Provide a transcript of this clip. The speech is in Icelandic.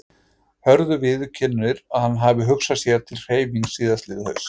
Hörður viðurkennir að hann hafi hugsað sér til hreyfings síðastliðið haust.